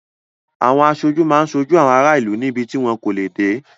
Aṣojú máa ń ṣojú àwọn ará ìlú níbi tí wọn kò lè dé.